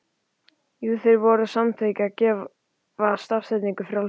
Jú, þeir voru að samþykkja að gefa stafsetningu frjálsa.